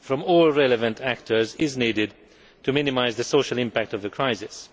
all relevant actors is needed to minimise the social impact of the crisis.